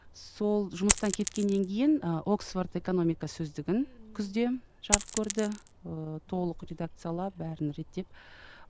сол жұмыстан кеткеннен кейін ы оксворд экономика сөздігін күзде жарық көрді ыыы толық редакциялап бәрін реттеп